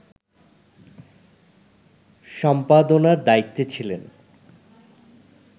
সম্পাদনার দায়িত্বে ছিলেন